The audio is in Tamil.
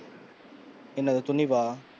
என்னது துணிவா?